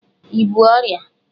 i bú ọrịa?